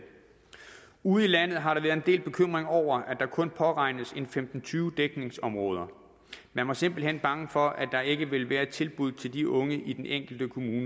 ude i landet har der været en del bekymring over at der kun påregnes en femten til tyve dækningsområder man var simpelt hen bange for at der ikke ville være de tilbud til de unge i den enkelte kommune